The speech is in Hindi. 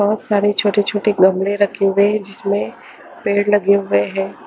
बहोत सारे छोटे-छोटे गमले रखे हुए हैं जिसमे पेड़ लगे हुए हैं।